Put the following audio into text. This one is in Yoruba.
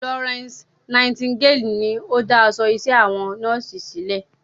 Florence Nightingale ni o dá aṣọ iṣẹ́ àwọn nọ́ọ̀sì sílẹ̀.